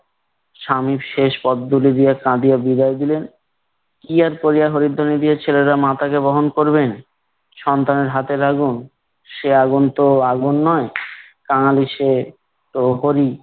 স্বামী শেষ পদধূলি দিয়ে কাঁদিয়া বিদায় দিলেন। কি আর করিয়া হরিধনের নিজের ছেলেরা মা তাকে বহন করবেন। সন্তানের হাতের আগুন সে আগুনতো আগুন নয় কাঙালির সে প্রহরী